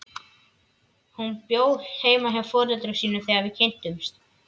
Hún bjó heima hjá foreldrum sínum þegar við kynntumst.